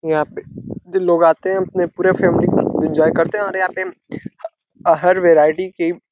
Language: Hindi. यहाँ पे जो लोग आते है। इनकी पूरी फॅमिली एन्जॉय करते हैं और यहाँ पे हर वैराइटी की --